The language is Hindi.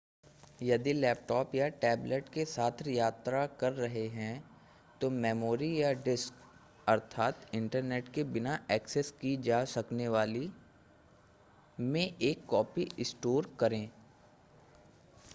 यदि लैपटॉप या टैबलेट के साथ यात्रा कर रहे हैं तो मेमोरी या डिस्क इंटरनेट के बिना एक्सेस की जा सकने वाली में एक कॉपी स्टोर करें